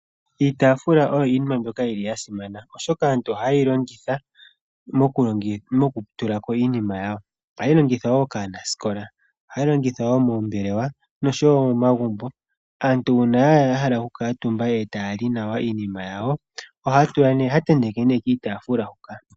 Iitaafula oyo iinima mbyoka yili yasimana, oshoka aantu ohaye yi longitha mokutula ko iinima yawo ,ohayi longithwa wo kaanasikola, ohayi longithwa wo moombelewa nosho wo momagumbo. Aantu uuna ya hala okukuutumba etaya li nawa iinima yawo, ohaya tenteke nee kiitaafula huka.